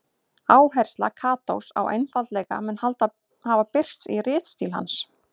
Áhersla Katós á einfaldleika mun hafa birst í ritstíl hans.